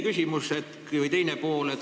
Küsimuse teine pool.